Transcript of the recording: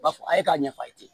U b'a fɔ a ye k'a ɲɛfɔ a ye